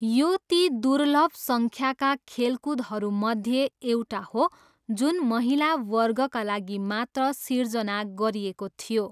यो ती दुर्लभ सङ्ख्याका खेलकुदहरूमध्ये एउटा हो जुन महिला वर्गका लागि मात्र सिर्जना गरिएको थियो।